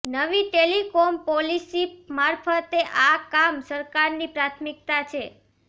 નવી telecom policy મારફતે આ કામ સરકારની પ્રાથમિકતા છે